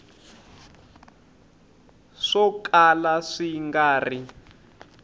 swo kala swi nga ri